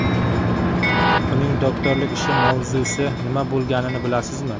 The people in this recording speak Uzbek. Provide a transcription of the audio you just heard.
Uning doktorlik ishi mavzusi nima bo‘lganini bilasizmi?